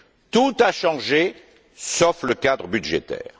Tout a changé, sauf le cadre budgétaire.